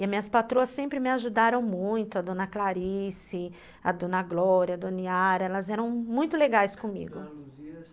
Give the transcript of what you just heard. E as minhas patroas sempre me ajudaram muito, a dona Clarice, a dona Glória, a dona Yara, elas eram muito legais comigo.